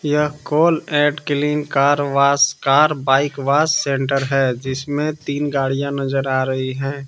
यह call at clean car wash car bike wash centre है जिसमें तीन गाड़ियां नजर आ रही हैं।